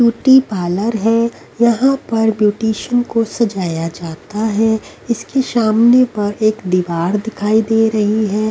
Beauty parlour है यहां पर ब्यूटीशियन को सजाया जाता है इसकी सामने पर एक दीवार दिखाई दे रही है।